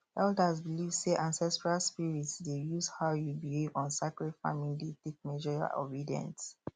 elders believe say ancestral spirits dey use how you behave on sacred farming day take measure your obedience